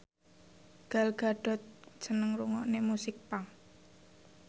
Gal Gadot seneng ngrungokne musik punk